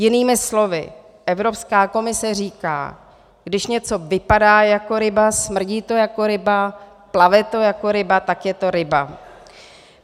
Jinými slovy, Evropská komise říká: Když něco vypadá jako ryba, smrdí to jako ryba, plave to jako ryba, tak je to ryba.